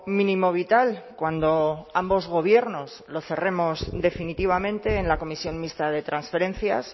mínimo vital cuando ambos gobiernos lo cerremos definitivamente en la comisión mixta de transferencias